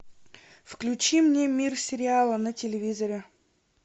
включи мне мир сериала на телевизоре